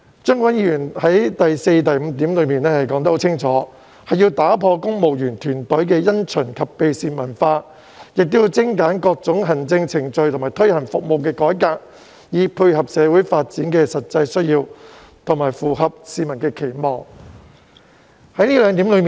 張國鈞議員在第四及五點清楚指出要打破公務員團隊的因循及避事文化，以及精簡各種行政程序及推行服務改革，以配合社會發展的實際需要及符合市民期望。